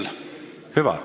Hüva!